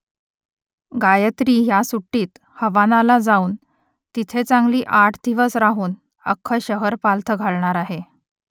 गायत्री ह्या सुट्टीत हवानाला जाऊन तिथे चांगली आठ दिवस राहून अख्खं शहर पालथं घालणार आहे